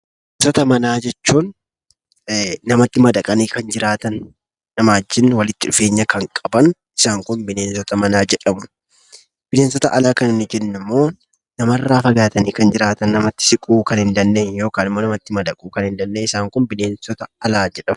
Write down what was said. Bineensota manaa jechuun namatti madaqanii kan jiraatan, namaa wajjin walitti dhufeenya kan qaban isaan kun bineensota manaa jedhamu. Bineensota alaa kan nuti jennummoo namarraa fagaatanii kan jiraatan ,namatti siquu kan hin dandeenye yokan immoo namatti madaquu kan hin dandeenye isaan kun bineensota alaa jedhamu.